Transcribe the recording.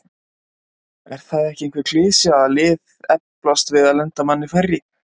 Er það ekki einhver klisja að lið eflast oft við að lenda manni færri?